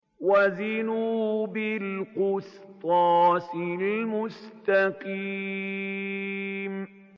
وَزِنُوا بِالْقِسْطَاسِ الْمُسْتَقِيمِ